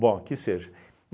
Bom, que seja.